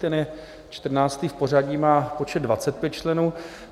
Ten je čtrnáctý v pořadí, má počet 25 členů.